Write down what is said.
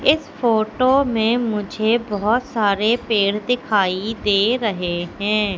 इस फोटो में मुझे बहुत सारे पेड़ दिखाई दे रहे हैं।